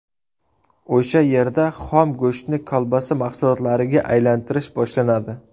O‘sha yerda xom go‘shtni kolbasa mahsulotlariga aylantirish boshlanadi.